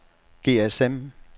GSM